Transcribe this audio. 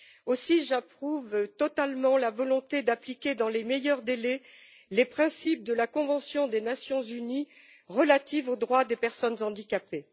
Aussi, j'approuve totalement la volonté d'appliquer dans les meilleurs délais les principes de la convention des Nations Unies relative aux droits des personnes handicapées.